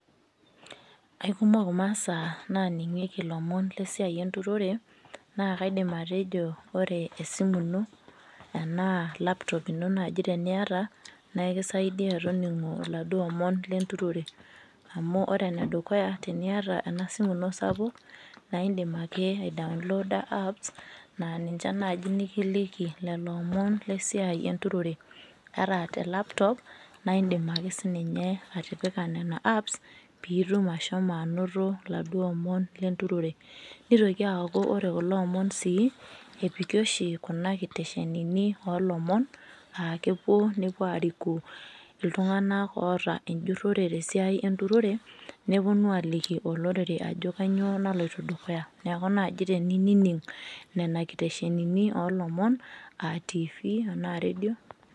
Aikumok imasaa naningieki masaa esiai enturore na kaidim atejo ore esimu ino anaa laptop ino teniata na ekisaidia toningo laduo omon tenturore amu ore enedukuya teniata enasimu ino sapuk, naindim ake I aidaonlooda ninche nai likiliki lolomon lesiai lenturore ata te laptop na indim akesininye atipika nona apps indim ashomo ainoto laduo omon lenturore nitoki aaku ore kulo omon oshi epiki oshi nkiteshenini olomon aa kepuo nepuo alimu ltunganak enjurore tesiai eremore neponu aliki olorere ajo kanyio naloito dukuya tenining nona kiteshenini olomon atifi tanaa rendio.